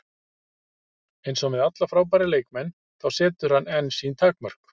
Eins og með alla frábæra leikmenn, þá setur hann einn sín takmörk.